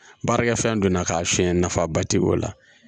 Baarakɛfɛn donna k'a fiyɛ nafaba tɛ o la